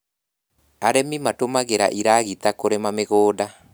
Arĩmi matũmagĩra iragita kũrĩma mĩgũnda